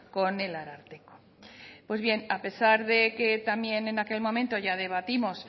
con el ararteko pues bien a pesar de que también en aquel momento ya debatimos